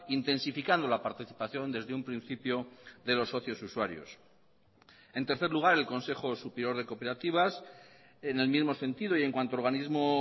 intensificando la participación desde un principio de los socios usuarios en tercer lugar el consejo superior de cooperativas en el mismo sentido y en cuanto a organismo